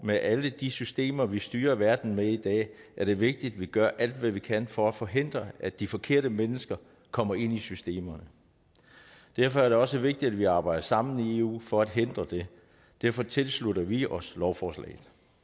med alle de systemer vi styrer verden med i dag er det vigtigt at vi gør alt hvad vi kan for at forhindre at de forkerte mennesker kommer ind i systemerne derfor er det også vigtigt at vi arbejder sammen i eu for at hindre det derfor tilslutter vi os lovforslaget